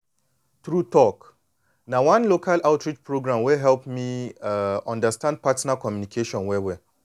true talk na one local outreach program wey help me um understand partner communication well well.